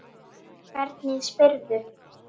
Hvernig spyrðu!